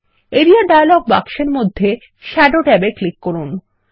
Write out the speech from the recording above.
area dialog বাক্সের মধ্যে shadow ট্যাবে ক্লিক করুন